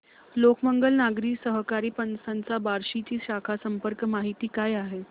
लोकमंगल नागरी सहकारी पतसंस्था बार्शी ची शाखा संपर्क माहिती काय आहे